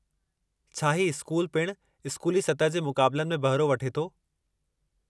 छा ही स्कूल पिणु स्कूली सतह जे मुक़ाबलनि में बहिरो वठे थो?